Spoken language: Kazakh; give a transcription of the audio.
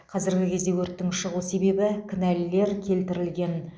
қазіргі кезде өрттің шығу себебі кінәлілер келтірілген